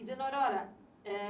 E, Dona Aurora, é...